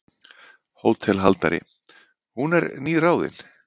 HÓTELHALDARI: Hún er nýráðin.